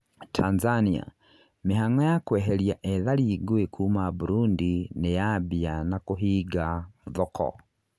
Tanzania: mĩhang'o ya kweheri ethari ngũĩ kuma Burundi nĩyambia na kũhinga thoko